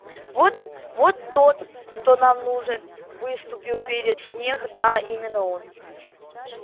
вот вот тот кто нам нужен выступил перед снегг да именно он